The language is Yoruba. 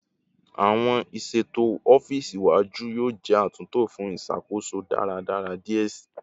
Awọn iṣeto ọfiisi iwaju yoo jẹ atunto fun iṣakoso daradara diẹ sii